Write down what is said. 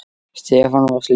Stefán var slíkur.